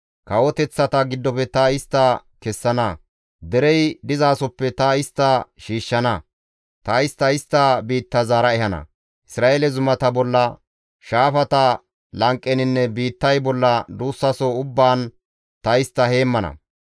Kawoteththata giddofe ta istta kessana; derey dizasoppe ta istta shiishshana; ta istta istta biitta zaara ehana; Isra7eele zumata bolla, shaafata lanqeninne biittay bolla duussaso ubbaan ta istta heemmana.